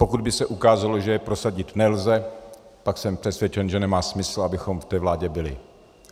Pokud by se ukázalo, že je prosadit nelze, pak jsem přesvědčen, že nemá smysl, abychom v té vládě byli.